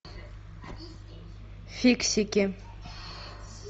фиксики